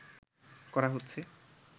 করা হচ্ছে